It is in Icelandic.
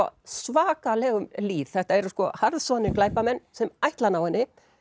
svakalegum lýð þetta eru glæpamenn sem ætla að ná henni